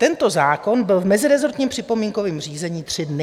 Tento zákon byl v mezirezortním připomínkovém řízení tři dny.